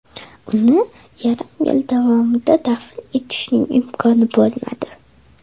Uni yarim yil davomida dafn etishning imkoni bo‘lmadi.